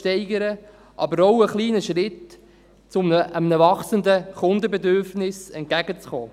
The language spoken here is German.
Es ist aber auch ein kleiner Schritt um einem wachsenden Kundenbedürfnis entgegenzukommen.